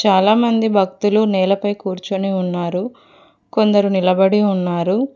చాలామంది భక్తులు నేలపై కూర్చుని ఉన్నారు కొందరు నిలబడి ఉన్నారు.